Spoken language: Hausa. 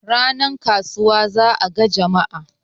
ranar kasuwa za a ga Jama'a